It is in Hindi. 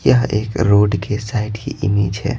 यह एक रोड के साइड की इमेज है।